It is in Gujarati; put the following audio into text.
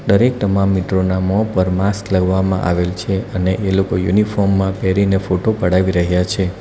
દરેક તમામ મિત્રોના મોં પર માસ્ક લાગવામાં આવેલ છે અને એ લોકો યુનિફોર્મ માં પહેરીને ફોટો પડાવી રહ્યા છે.